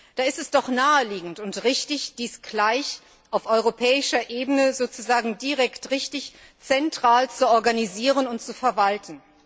Da ist es doch naheliegend und richtig, dies gleich auf europäischer Ebene direkt richtig, zentral zu organisieren und zu verwalten.